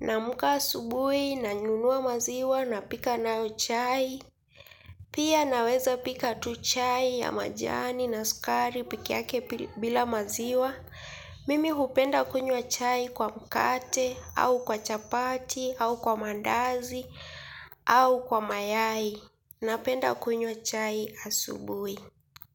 na amka asubuhi na nunua maziwa napika nao chai. Pia naweza pika tu chai ya majani na sukari pekee yake bila maziwa. Mimi hupenda kunywa chai kwa mkate au kwa chapati au kwa mandazi au kwa mayai napenda kunywa chai asubui.